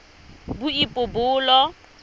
boipobolo